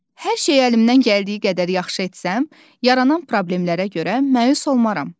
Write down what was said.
Hər şeyi əlimdən gəldiyi qədər yaxşı etsəm, yaranan problemlərə görə məyus olmaram.